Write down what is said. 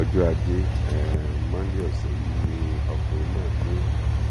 ọjọ ajé um monde ọsẹ yìí ni ọkùnrin náà mí